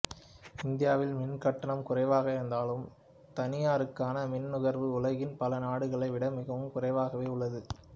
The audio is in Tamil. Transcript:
இந்தியாவில் மின்கட்டணம் குறைவாக இருந்தாலும் தனியருக்கான மின் நுகர்வு உலகின் பல நாடுகளை விட மிகவும் குறைவாகவே உள்ளது